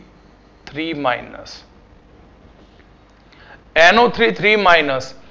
Three Minus NO Three Three Minus